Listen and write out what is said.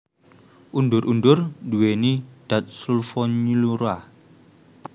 Undur undur nduwèni dat sulfonylurea